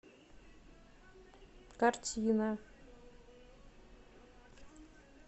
картина